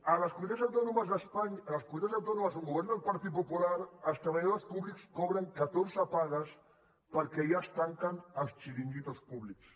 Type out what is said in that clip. a les comunitats autònomes d’espanya a les comunitats autònomes on governa el partit popular els treballadors públics cobren catorze pagues perquè allà es tanquen els xiringuitos públics